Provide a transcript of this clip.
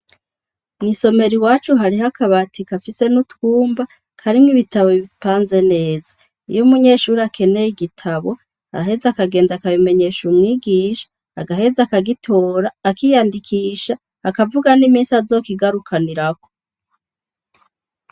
Mw'isomero iwacu hariho akabati gafise n'utwumba karimwo ibitabu bipanze neza. Iyo umunyeshure akeneye igitabo, araheza akabimenyesha umwigisha, agaheza akagitora, akiyandikisha, akavuga n'iminsi azokigarukanirako.